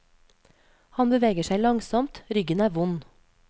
Han beveger seg langsomt, ryggen er vond.